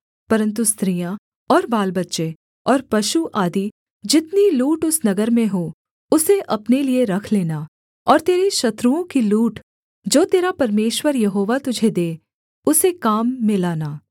परन्तु स्त्रियाँ और बालबच्चे और पशु आदि जितनी लूट उस नगर में हो उसे अपने लिये रख लेना और तेरे शत्रुओं की लूट जो तेरा परमेश्वर यहोवा तुझे दे उसे काम में लाना